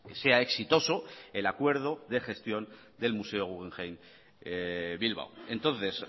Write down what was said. sea exitoso el acuerdo de gestión del museo guggenheim bilbao entonces